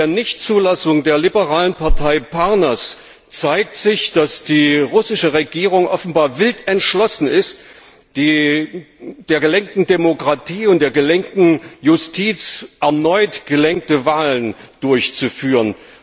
Mit der Nichtzulassung der liberalen Parnas Partei zeigt sich, dass die russische Regierung offenbar wild entschlossen ist, entsprechend der gelenkten Demokratie und der gelenkten Justiz erneut gelenkte Wahlen durchzuführen.